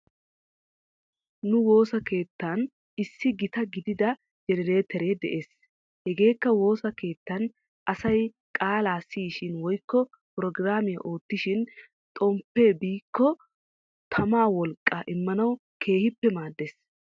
Nu woosa keettan issi gita gidida jenereetera de'es. Hegeekka wosa keettan asay qaalaa siyishin woykko prograamiyaa oottishin xomppee biikko tamaawolqqaa immanaw keehippe maaddes.